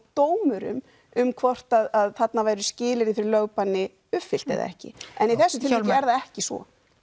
dómurum um hvort að þarna væru skilyrði fyrir lögbanni uppfyllt eða ekki en í þessu tilviku er það ekki sko